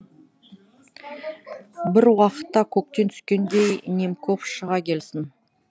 бір уақытта көктен түскендей немков шыға келсін